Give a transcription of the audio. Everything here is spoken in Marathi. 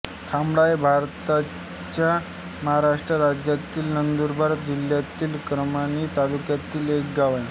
खामळा हे भारताच्या महाराष्ट्र राज्यातील नंदुरबार जिल्ह्यातील अक्राणी तालुक्यातील एक गाव आहे